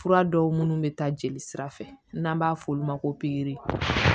Fura dɔw minnu bɛ taa jeli sira fɛ n'an b'a fɔ olu ma ko